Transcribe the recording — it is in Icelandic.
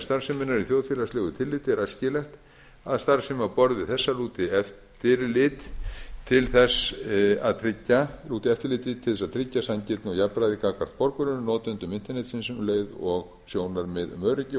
starfseminnar í þjóðfélagslegu tilliti er æskilegt að starfsemi á borð við þessa lúti eftirliti til þess að tryggja sanngirni og jafnræði gagnvart borgurunum notendum internetsins um leið og sjónarmið um öryggi og